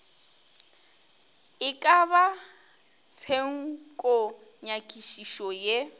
e ka ba tshenkonyakišišo ye